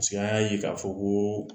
an ya ye ka fɔ ko